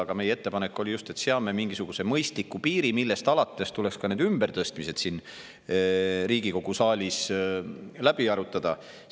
Aga meie ettepanek oligi just see, et seame mingisuguse mõistliku piiri, millest alates tuleks ka need ümbertõstmised siin Riigikogu saalis läbi arutada.